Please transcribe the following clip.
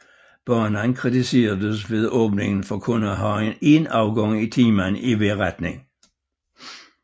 Banen kritiseredes ved åbningen for kun at have en afgang i timen i hver retning